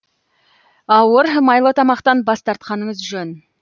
ауыр майлы тамақтан бас тартқаныңыз жөн